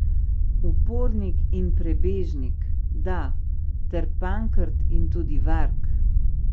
Upornik in prebežnik, da, ter pankrt in tudi varg.